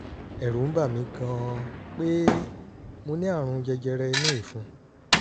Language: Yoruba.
ẹ̀rù ń bà mí gan-an pé mo ní àrùn jẹjẹrẹ inú ìfun